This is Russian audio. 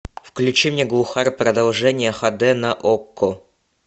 включи мне глухарь продолжение ха дэ на окко